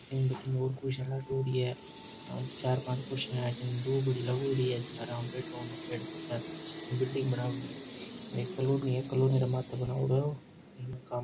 अठीन बठीन और कोई है पांच चार पांच कुर्सियां है दोबड़ी लागयोड़ी है जका में आराम हु बैठोपेड़ पौधा बिल्डिंग बनायोडी है एक कॉलोनी है कॉलोनी रे माते बणायोडो है ओ --